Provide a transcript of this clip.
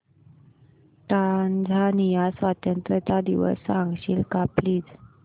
Tanzania स्वतंत्रता दिवस सांगशील का प्लीज